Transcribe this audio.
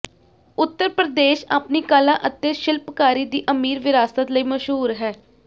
ਉੱਤਰ ਪ੍ਰਦੇਸ਼ ਆਪਣੀ ਕਲਾ ਅਤੇ ਸ਼ਿਲਪਕਾਰੀ ਦੀ ਅਮੀਰ ਵਿਰਾਸਤ ਲਈ ਮਸ਼ਹੂਰ ਹੈ